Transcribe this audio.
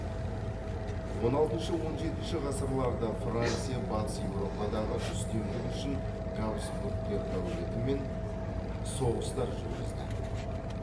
он алтыншы он жетінші ғасырларда франция батыс еуропадағы үстемдік үшін габсбургтер әулетімен соғыстар жүргізді